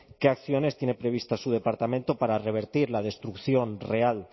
qué acciones tiene previsto su departamento para revertir la destrucción real